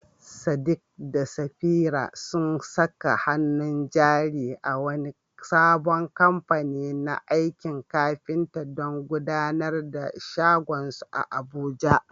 Sadiq da Safira sun saka hannun jari a wani sabon kamfani na aikin kafinta don gudanar da shagonsu a Abuja.